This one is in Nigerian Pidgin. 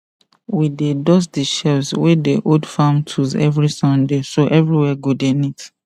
we dey dust the shelves wey dey hold farm tools every sunday so everywhere go dey neat